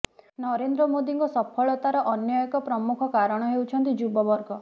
ନରେନ୍ଦ୍ର ମୋଦୀଙ୍କ ସଫଳତାର ଅନ୍ୟ ଏକ ପ୍ରମୁଖ କାରଣ ହେଉଛନ୍ତି ଯୁବ ବର୍ଗ